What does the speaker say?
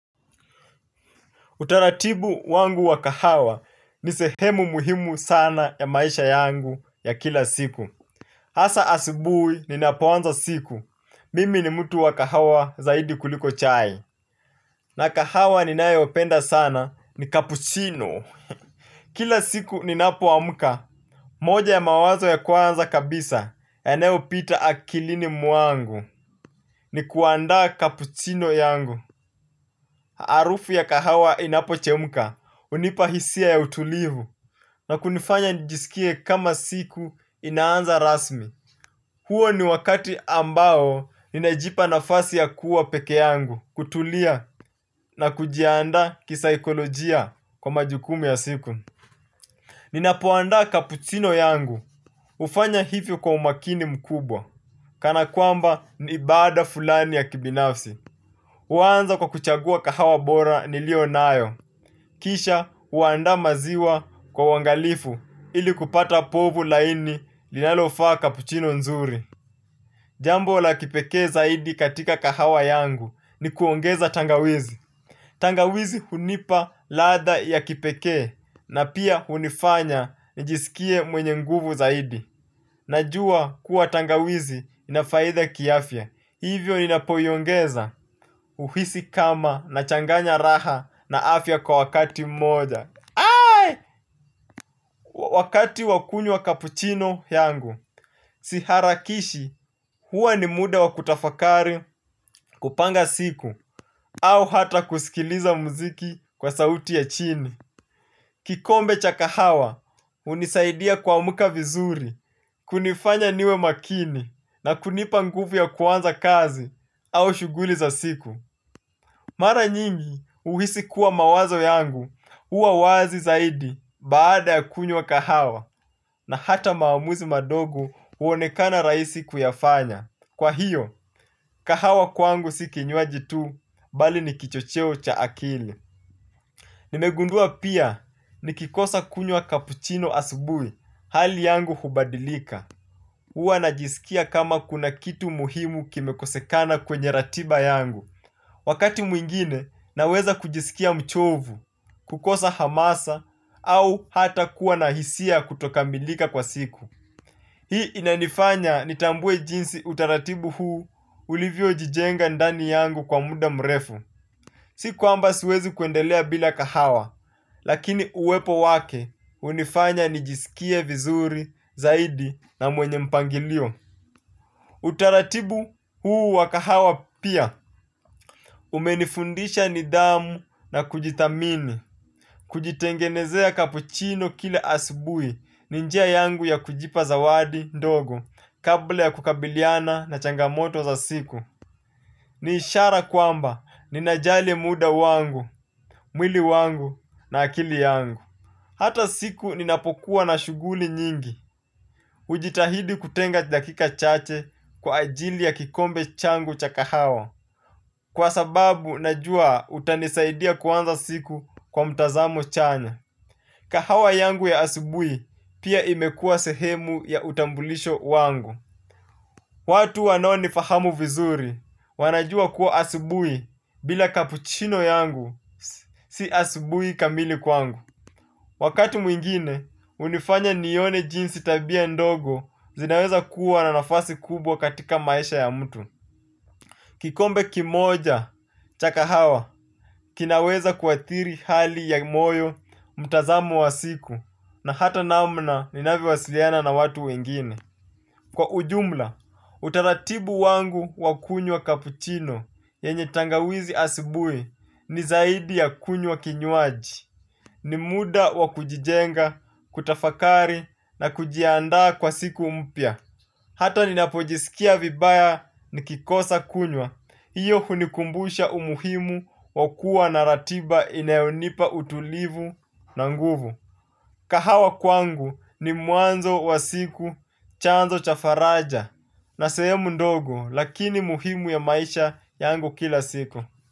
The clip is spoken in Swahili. Utaratibu wangu wa kahawa ni sehemu muhimu sana ya maisha yangu ya kila siku. Hasaa asubuhi ni ninapoanza siku. Mimi ni mtu wa kahawa zaidi kuliko chai. Na kahawa ninayopenda sana ni kapuchino. Kila siku ninapoamka moja ya mawazo ya kwanza kabisa yanayopita akilini mwangu ni kuandaa kapuchino yangu. Harufu ya kahawa inapochemka, hunipa hisia ya utulivu. Na kunifanya nijisikie kama siku inaanza rasmi. Huo ni wakati ambao ninajipa nafasi ya kuwa peke yangu, kutulia na kujiandaa kisaikolojia kwa majukumu ya siku. Ninapoandaa kapuchino yangu, hufanya hivyo kwa umakini mkubwa kana kwamba ni ibada fulani ya kibinafsi. Huanza kwa kuchagua kahawa bora nilionayo. Kisha huandaa maziwa kwa uangalifu ili kupata povu laini linalofaa cappuccino nzuri. Jambo la kipekee zaidi katika kahawa yangu ni kuongeza tangawizi. Tangawizi hunipa ladha ya kipekee na pia hunifanya nijisikie mwenye nguvu zaidi. Najua kuwa tangawizi ina faida kiafya. Hivyo ninapoiongeza huhisi kama nachanganya raha na afya kwa wakati mmoja. Wakati wa kunywa wa cappuccino yangu, siharakishi huwa ni muda wa kutafakari kupanga siku au hata kusikiliza muziki kwa sauti ya chini. Kikombe cha kahawa hunisaidia kuamka vizuri, kunifanya niwe makini na kunipa nguvu ya kuanza kazi au shughuli za siku. Mara nyingi huhisi kuwa mawazo yangu, huwa wazi zaidi baada ya kunywa kahawa na hata maamuzi madogo huonekana rahisi kuyafanya. Kwa hiyo, kahawa kwangu si kinywaji tu, bali ni kichocheo cha akili. Nimegundua pia nikikosa kunywa cappuccino asubuhi hali yangu hubadilika huwa najisikia kama kuna kitu muhimu kimekosekana kwenye ratiba yangu. Wakati mwingine naweza kujisikia mchovu, kukosa hamasa au hata kuwa na hisia kutokamilika kwa siku. Hii inanifanya nitambue jinsi utaratibu huu ulivyojijenga ndani yangu kwa muda mrefu. Si kuamba siwezi kuendelea bila kahawa, lakini uwepo wake hunifanya nijisikie vizuri, zaidi na mwenye mpangilio. Utaratibu huu wa kahawa pia, umenifundisha nidhamu na kujithamini, kujitengenezea cappuccino kila asubuhi, ni njia yangu ya kujipa zawadi ndogo, kabla ya kukabiliana na changamoto za siku. Ni ishara kwamba ninajali muda wangu, mwili wangu na akili yangu. Hata siku ninapokuwa na shughuli nyingi, hujitahidi kutenga dakika chache kwa ajili ya kikombe changu cha kahawa. Kwa sababu najua utanisaidia kuanza siku kwa mtazamo chanya. Kahawa yangu ya asubuhi pia imekuwa sehemu ya utambulisho wangu. Watu wanaonifahamu vizuri wanajua kuwa asubuhi bila cappuccino yangu si asubuhi kamili kwangu. Wakati mwingine hunifanya nione jinsi tabia ndogo zinaweza kuwa na nafasi kubwa katika maisha ya mtu. Kikombe kimoja cha kahawa kinaweza kuathiri hali ya moyo mtazamo wa siku na hata namna ninavyowasiliana na watu wengine. Kwa ujumla, utaratibu wangu wa kunywa kapuchino, yenye tangawizi asubuhi, ni zaidi ya kunywa kinywaji. Ni muda wa kujijenga, kutafakari, na kujiandaa kwa siku mpya. Hata ninapojisikia vibaya nikikosa kunywa, hiyo hunikumbusha umuhimu wa kuwa na ratiba inayonipa utulivu na nguvu. Kahawa kwangu ni mwanzo wa siku, chanzo cha faraja na sehemu ndogo lakini muhimu ya maisha yangu kila siku.